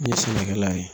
Ne ye sɛnɛkɛla ye